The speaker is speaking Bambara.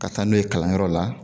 Ka taa n'o ye kalanyɔrɔ la